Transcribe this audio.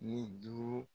Ni duuru